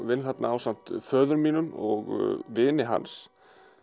vinn þar ásamt föður mínum og vini hans